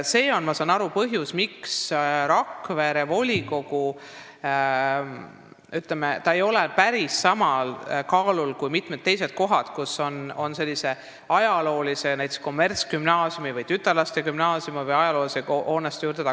See on, ma saan aru, põhjus, miks Rakvere volikogu otsus ei ole, ütleme, päris sama kaaluga kui mitmes teises paigas tehtud otsus, kus on näiteks kommertsgümnaasiumi või tütarlaste gümnaasiumi ajalooline hoone valitud.